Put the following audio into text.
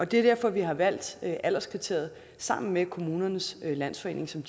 det er derfor vi har valgt alderskriteriet sammen med kommunernes landsforening som